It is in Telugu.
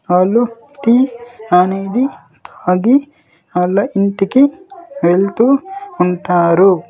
వాళ్ళు టీ అనేది తాగి వాళ్ళ ఇంటికి వెళ్తూ ఉంటారు.